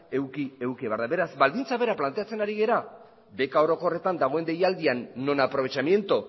eduki behar da beraz baldintza bera planteatzen ari gara beka orokorretan dagoen deialdian non aprovechamiento